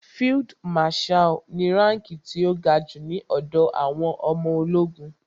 Field marshal ni ránkí ti ó ga jù ní ọ̀dọ̀ àwọn ọmọ ológun.